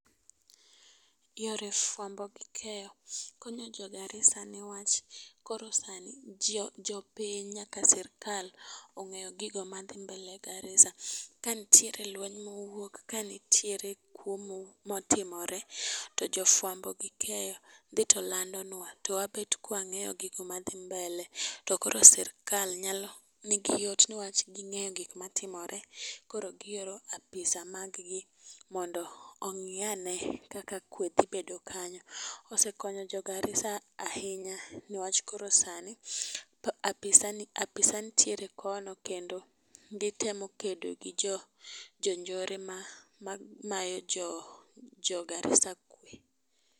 Yore fwambo gi keyo konyo jo Garissa newach koro sani ,ji jopiny nyaka sirkal ong'eyo gigo madhi mbele e Garissa. Ka ntiere lweny mowuok ka ntiere kuo mo matimore , to jofwambo gi keyo dhi to lando nwa twabed kwng'eyo gigo madhi mbele , to koro sirikal nigi yot newach ging'e gima tkmore koro gioro apisa mag gi mondo ong'iyane kaka kwe dhi bedo kanyo. Osekonyo jo Garissa ahinya newach koro sani apisa, apisa ntie kono kendo gitemo kedo gi jo jonjore ma mamayo jo Jo Garissa kwe.